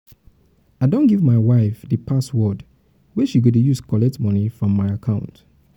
i don um give my um wife di password wey she go dey use collect um moni from my account.